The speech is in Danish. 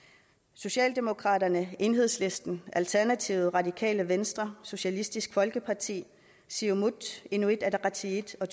socialdemokraterne enhedslisten alternativet radikale venstre socialistisk folkeparti siumut inuit ataqatigiit og